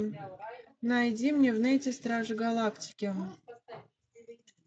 найди мне в нете стражи галактики